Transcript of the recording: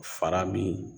Fara min